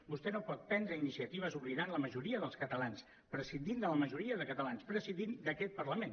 vostè no pot prendre iniciatives oblidant la majoria dels catalans prescindint de la majoria de catalans prescindint d’aquest parlament